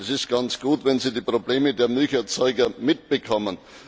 Es ist ganz gut, wenn Sie die Probleme der Milcherzeuger mitbekommen.